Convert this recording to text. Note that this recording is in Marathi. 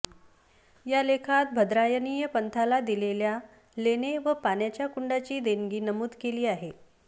या लेखात भद्रायणीय पंथाला दिलेल्या लेणे व पाण्याच्या कुंडाची देणगी नमूद केली आहे